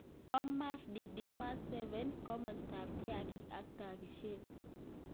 Thomas Didimu Kashililah. 7 Komostap. kiakik ak Takishet